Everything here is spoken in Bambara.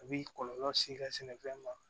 A b'i kɔlɔlɔ s'i ka sɛnɛfɛn ma